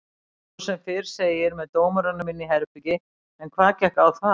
Hann fór sem fyrr segir með dómurunum inn í herbergi en hvað gekk á þar?